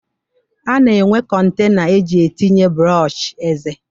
A na-enwe kọntena eji etinye brọọshị eze